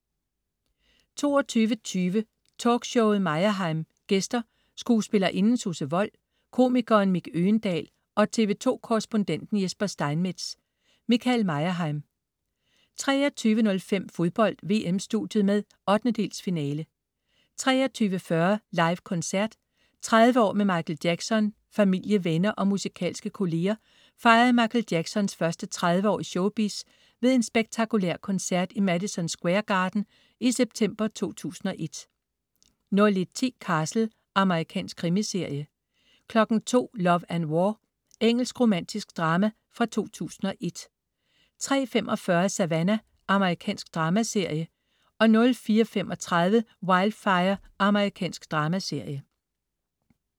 22.20 Talkshowet Meyerheim. Gæster: skuespillerinden Susse Wold, komikeren Mick Øgendahl og TV 2-korrespondenten Jesper Steinmetz . Michael Meyerheim 23.05 Fodbold: VM-studiet med 1/8-finale 23.40 Livekoncert. 30 år med Michael Jackson. Familie, venner og musikalske kolleger fejrede Michael Jacksons første 30 år i showbiz ved en spektakulær koncert i Madison Square Garden i september 2001 01.10 Castle. Amerikansk krimiserie 02.00 Love and War. Engelsk, romantisk drama fra 2001 03.45 Savannah. Amerikansk dramaserie 04.35 Wildfire. Amerikansk dramaserie